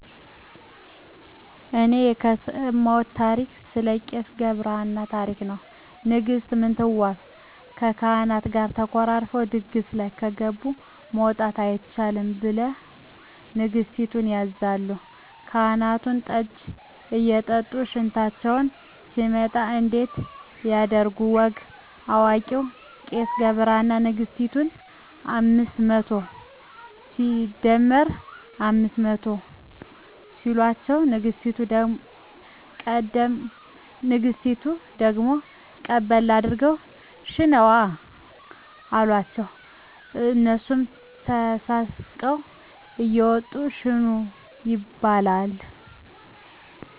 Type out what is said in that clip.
እኔ የሰማውት ታሪክ ስለ ቄስ ገብርሃና ታሪክ ነው ንግስት ምንትዋብ ከካህናት ጋር ተኮራርፈው ድግስ ላይ ከገብ መውጣት አይቻልም ብለሁ ንገስቲቱ ያዛሉ ካህናቱን ጠጂ እየጠጡ ሽንታቸው ሲመጣ እንዴት ያድርጉ ወግ አዋቂው ቄስ ገብረሃና ነግስቲቱን አምስት መቶ ሲደመር አምስት መቶ ሲሎቸው ንግስቲቱ ደግሞ ቀበል አድርገው ሽነዋ አሎቸው እነሱም ተሳስቀው እየወጡ ሸኑ ይባላል